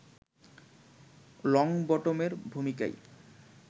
লংবটমের ভূমিকায়